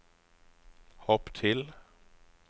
hopp til